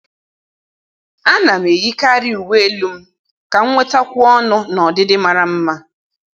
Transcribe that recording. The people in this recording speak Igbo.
À nà m eyíkàrị uwe elu m kà m nwetákwùọ ọnụ́ na ọdịdị màrà mma.